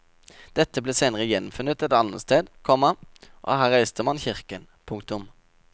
Dette ble senere gjenfunnet et annet sted, komma og her reiste man kirken. punktum